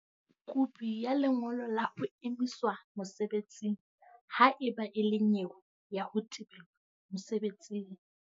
Kopi ya lengolo la ho emiswa mosebetsing ha e ba e le nyewe ya ho tebelwa mosebetsing.